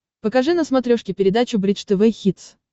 покажи на смотрешке передачу бридж тв хитс